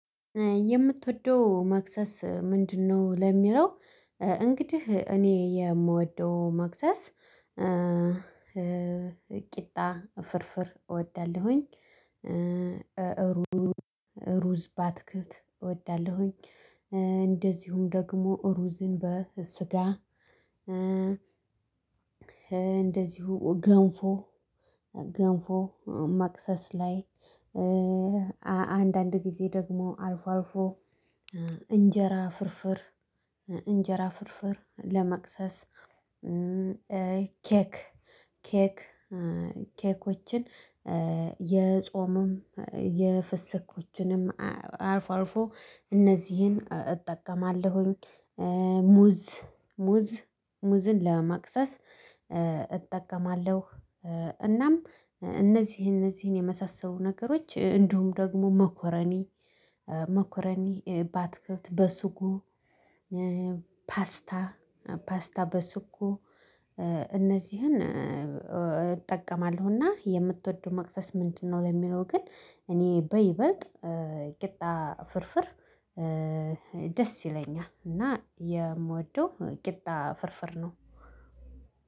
የምትወደው መክሰስ ምንድነው ለሚለው እንግዲህ እኔ የምወደው መክሰስ ቂጣ ፍርፍር እወዳለሁኝ። ሩዝ ባትክልት እወዳለሁኝ እንደዚሁም ደግሞ ሩዝን በስጋ። እንደዚሁ ገንፎ ገንፎ መክሰስ ላይ አንዳንድ ጊዜ ደግሞ አልፎ አልፎ እንጀራ ፍርፍር እንጀራ ፍርፍር ለመቅሰስ ኬክ ኬክ ኬኮችን የጾምም የፍስኮችንም አልፎ አልፎ እነዚህን እጠቀማለሁኝ ሙዝ ሙዝን ለመቅሰስ እጠቀማለሁ። እናም እነዚህን እነዚህን የመሳሰሉ ነገሮች እንዲሁም ደግሞ መኮረኒ መኮረኒ ባትክልት በሱጎ ፓስታ ፓስታ በሱጎ እነዚህን እጠቀማለሁና የምትወደው መቅሰስ ምንድነው ለሚለው ግን እኔ በይበልጥ ቅጣ ፍርፍር ደስ ይለኛል እና የምወደው ቂጣ ፍርፍር ነው።